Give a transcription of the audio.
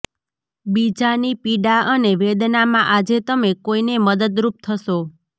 બીજાની પીડા અને વેદનામાં આજે તમે કોઈને મદદરૂપ થશો